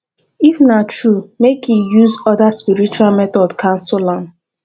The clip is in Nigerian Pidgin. if na true make e use other spiritual method cancel am